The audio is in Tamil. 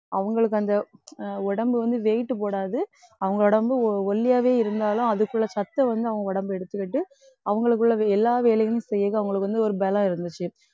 அவங்களுக்கு அந்த அஹ் உடம்பு வந்து weight போடாது. அவங்க உடம்பு ஒல்லியாவே இருந்தாலும் அதுக்குள்ள சத்தை வந்து அவங்க உடம்பு எடுத்துக்கிட்டு அவங்களுக்குள்ளது எல்லா வேலையும் செய்யது அவங்களுக்கு வந்து ஒரு பலம் இருந்துச்சு.